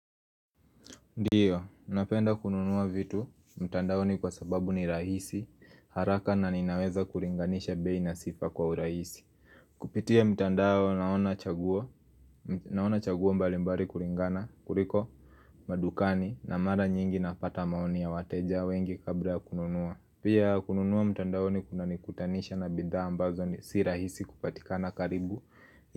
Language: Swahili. Ndiyo, napenda kununua vitu, mtandaoni kwa sababu ni rahisi, haraka na ninaweza kuringanisha bei na sifa kwa urahisi Kupitia mtandaoni naona chaguoa, naona chaguoa mbalimbali kulingana, kuliko madukani na mara nyingi napata maoni ya wateja wengi kabla kununua Pia kununua mtandaoni kuna ni kutanisha na bidha ambazo si rahisi kupatikana karibu.